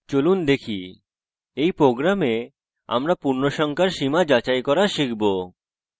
চলুন একবার দেখি এই program আমরা পূর্ণসংখ্যার সীমা যাচাই করা শিখব